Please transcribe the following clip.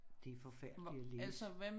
Det forfærdelig at læse